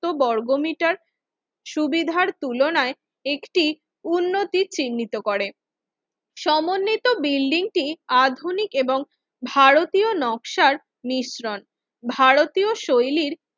বর্গমিটার সুবিধার তুলনায় একটি উন্নতি চিহ্নিত করেন সমন্বিত বিল্ডিংটিআধুনিক এবং ভারতীয় নকশার মিশ্রণ ভারতীয় শৈলীর